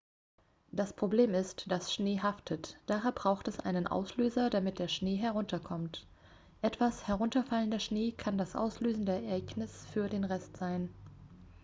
das problem ist das schnee haftet daher braucht es einen auslöser damit der schnee herunterkommt etwas herunterfallender schnee kann das auslösende ereignis für den rest sein